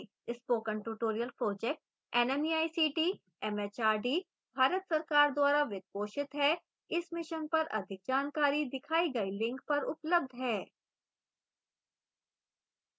spoken tutorial project nmeict mhrd Bharat सरकार द्वारा वित्त पोषित है इस mission पर अधिक जानकारी दिखाई गई link पर उपलब्ध है